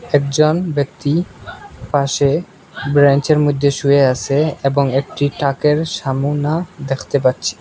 একজন ব্যাক্তি পাশে ব্রেঞ্চের মধ্যে শুয়ে আসে এবং একটি টাকের সামোনা দেখতে পাচ্ছি।